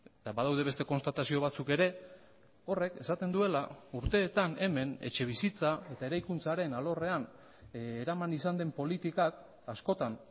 eta badaude beste konstatazio batzuk ere horrek esaten duela urteetan hemen etxebizitza eta eraikuntzaren alorrean eraman izan den politikak askotan